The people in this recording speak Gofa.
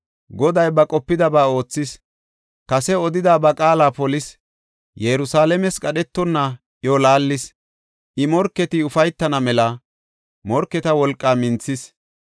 Goday ba qopidaba oothis; kase odida ba qaala polis. Yerusalaames qadhetonna iyo laallis I morketi ufaytana mela, morketa wolqaa minthis.